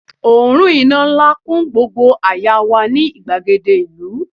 òórùn iná nla kun gbogbo àyà wa ni igbagede ìlú